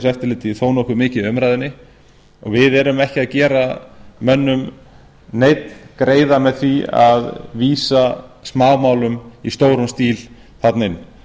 samkeppniseftirlitið þó nokkuð mikið í umræðunni og við erum ekki að gera mönnum neinn greiða með því að vísa smámálum í stórum stíl þarna inn